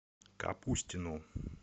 капустину